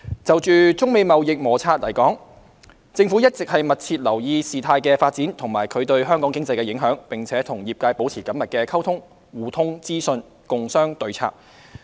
就中美貿易摩擦而言，政府一直密切留意事態發展及其對香港經濟的影響，並與業界保持緊密溝通，互通資訊，共商對策。